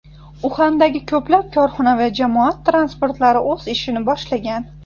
Uxandagi ko‘plab korxona va jamoat transportlari o‘z ishini boshlagan.